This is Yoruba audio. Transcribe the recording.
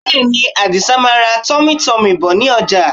Bẹ́ẹ̀ni, Àdìsa máa ra tummytummy bọ̀ ní ọjà